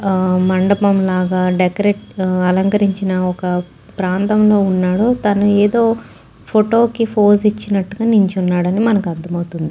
ఆ మండపంలగా దేకరటు అలకరించిన ఒక ప్రాంతలో వున్నాడు తను ఏదో ఫోటో కి ఫోజు ఇచ్చిన్నటుగా నించున్నాడని మనకు అర్ధం అవుతుంది.